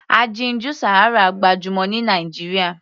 Aginjù Sahara gbajúmọ̀ ní Nàìjíríà.